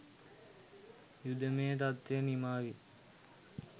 යුදමය තත්ත්වය නිමාවී